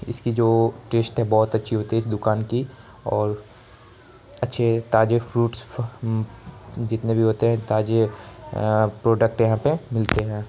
इसकी जो टेस्ट है बहोत अच्छी होती है इस दुकान की और अच्छे ताजे फ्रूटस जितने भी होते हैं ताजे प्रोडक्ट यहां पे मिलते हैं।